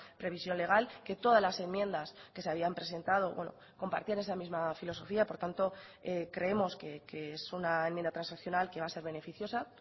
previsión legal que todas las enmiendas que se habían presentado compartían esa misma filosofía por tanto creemos que es una enmienda transaccional que va a ser beneficiosa